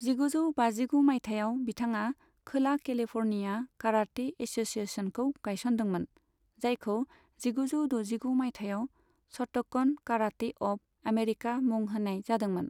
जिगुजौ बाजिगु माइथायाव बिथाङा खोला केलिफ'र्निया काराटे एस'सिएशनखौ गायसनदोंमोन, जायखौ जिगुजौ दजिगु माइथायाव श'ट'कन काराटे अफ आमेरिका मुं होनाय जादोंमोन।